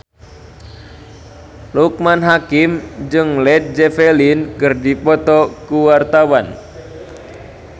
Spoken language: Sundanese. Loekman Hakim jeung Led Zeppelin keur dipoto ku wartawan